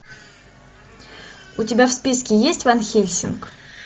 у тебя в списке есть ван хельсинг